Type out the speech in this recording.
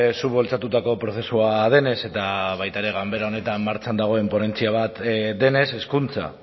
zuk bultzatutako prozesua denez eta baita ere ganbera honetan martxan dagoen ponentzia bat denez hezkuntza